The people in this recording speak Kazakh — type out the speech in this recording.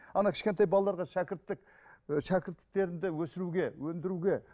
кішкентай балаларға шәкірттік і шәкірттіктерімді өсіруге өндіруге